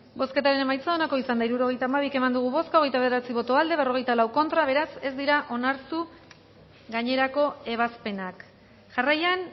bozketaren emaitza onako izan da hirurogeita hamairu eman dugu bozka hogeita bederatzi boto aldekoa cuarenta y cuatro contra beraz ez dira onartu gainerako ebazpenak jarraian